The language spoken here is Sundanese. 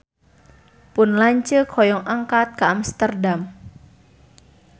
Pun lanceuk hoyong angkat ka Amsterdam